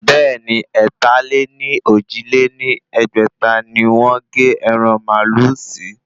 Bẹ́ẹ̀ni, ẹ̀ta-lé-ní-ojì lé ní ẹgbẹ́ta ni wọ́n gé ẹran màálù sí